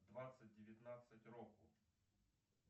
двадцать девятнадцать року